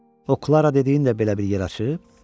O Klara dediyin də belə bir yer açıb?